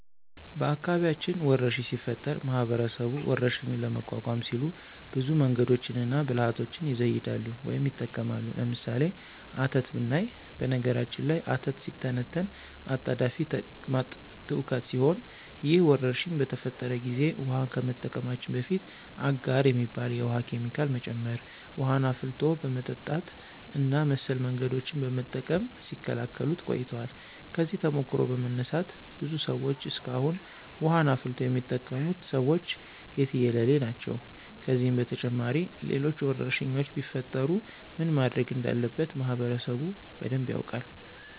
በአካባቢያችን ወረርሽኝ ሲፈጠር ማህበረሰቡ ወረርሽኙን ለመቋቋም ሲሉ ብዙ መንገዶችንና ብልሀቶችን ይዘይዳሉ ወይም ይጠቀማሉ። ለምሳሌ፦ አተት ብናይ በነገራችን ላይ አተት ሲተነተን አጣዳፊ ተቅማጥ ትውከት ሲሆን ይህ ወረርሽኝ በተፈጠረ ጊዜ ውሀን ከመጠቀማችን በፊት አጋር የሚባል የውሀ ኬሚካል መጨመር፣ ውሀን አፍልቶ በመጠጣት እና መሰል መንገዶችን በመጠቀም ሲከላከሉት ቆይተዋል። ከዚህ ተሞክሮ በመነሳት ብዙ ሰዎች እስካሁን ውሀን አፍልቶ የሚጠቀሙት ሰዎች የትየለሌ ናቸው። ከዚህም በተጨማሪ ሌሎች ወረርሽኞች ቢፈጠሩ ምን ማድረግ እንዳለበት ማህበረሰቡ በደንብ ያውቃል።